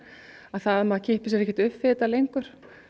að það að maður kippir sér ekkert upp við þetta lengur